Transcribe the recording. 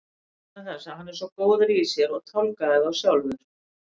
Vegna þess að hann er svo góður í sér og tálgaði þá sjálfur.